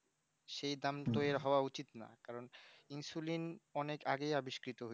সেই দাম তো হওয়া উচিত না কারণ insuline অনেক আগেই আবিষ্কারইতো